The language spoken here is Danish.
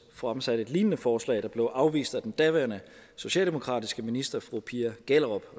fremsatte et lignende forslag der blev afvist af den daværende socialdemokratiske minister fru pia gjellerup